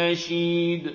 مَّشِيدٍ